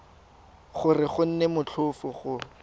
gore go nne motlhofo go